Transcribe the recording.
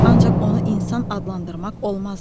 Ancaq onu insan adlandırmaq olmazdı.